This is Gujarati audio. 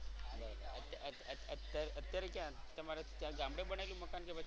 અત અત અત્યારે કયા તમારે ત્યાં ગામડે બનાવેલું છે મકાન.